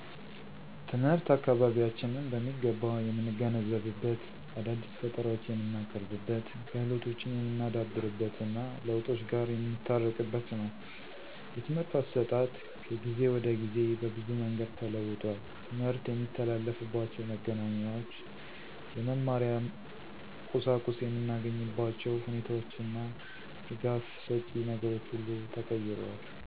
ትምህርት አካበቢያችንን በሚገባ የምንገነዘብበት፣ አዳዲስ ፈጠራወች የምንቀርብበት፣ ክህሎቶችን የምናዳብርበትና ለውጦች ጋር የምንታረቅበት ነው። የትምህርት አሰጣጥ ከጊዜ ወደ ጊዜ በብዙ መንገድ ተለውጧል። ትምርት የሚተላለፍባችው መገናኛዎች፣ የመማሪያ ቁሳቁስ የምናገኝባቸው ሁኔታዎችና ደጋፍ ሸጭ ነገሮች ሁሉ ተቀይረዋል።